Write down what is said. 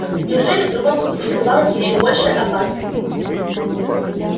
неужели в другом пути скрывалась ещё большая опасность